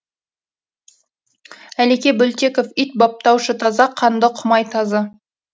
әлеке бөлтеков ит баптаушы таза қанды құмай тазы